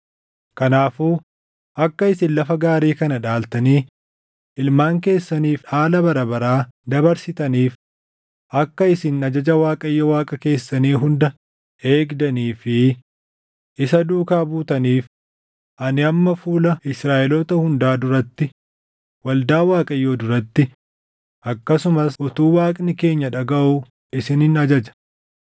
“Kanaafuu akka isin lafa gaarii kana dhaaltanii ilmaan keessaniif dhaala bara baraa dabarsitaniif, akka isin ajaja Waaqayyo Waaqa keessanii hunda eegdanii fi isa duukaa buutaniif ani amma fuula Israaʼeloota hundaa duratti, waldaa Waaqayyoo duratti, akkasumas utuu Waaqni keenya dhagaʼuu isinin ajaja.